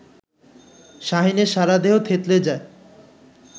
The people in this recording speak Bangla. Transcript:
শাহীনের সারাদেহ থেতলে যায়